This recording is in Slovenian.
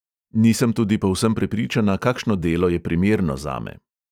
Nisem tudi povsem prepričana, kakšno delo je primerno zame.